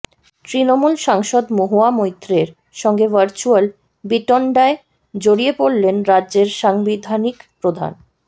তৃণমূল সাংসদ মহুয়া মৈত্রের সঙ্গে ভার্চুয়াল বিতণ্ডায় জড়িয়ে পড়লেন রাজ্যের সাংবিধানিক প্রধান